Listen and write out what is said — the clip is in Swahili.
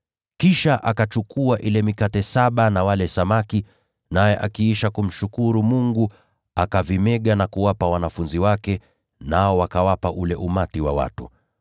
Kisha akachukua ile mikate saba na wale samaki, naye akiisha kumshukuru Mungu, akavimega na kuwapa wanafunzi wake, nao wakawapa ule umati wa watu.